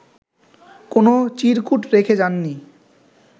কোনো চিরকূট রেখে যাননি